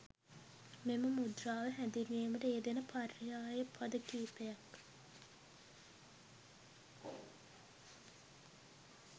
මෙම මුද්‍රාව හැඳින්වීමට යෙදෙන පර්යාය පද කීපයක්